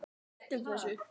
Breytum þessu!